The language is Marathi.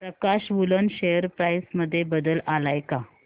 प्रकाश वूलन शेअर प्राइस मध्ये बदल आलाय का